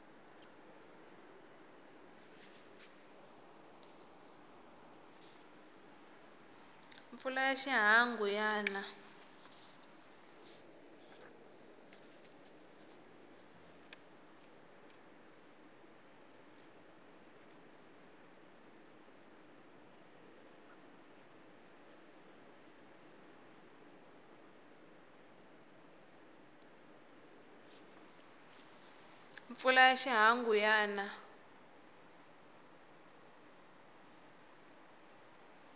mpfula ya xihangu ya na